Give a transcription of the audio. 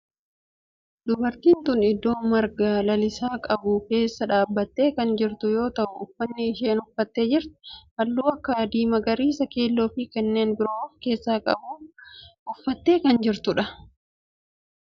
Dubartiin tun iddoo marga lalisaa qabu keessa dhaabbattee kan jirtu yoo ta'u uffanni isheen uffattee jirtu halluu akka adii, magariisa, keelloo fi kanneen biroo of keessaa qabu uffattee kan jirtudha.